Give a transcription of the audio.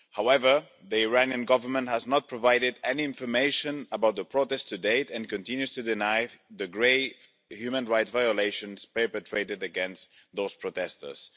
However, the Iranian government has not provided any information about the protests to date and continues to deny the grave human rights violations perpetrated against those protesters.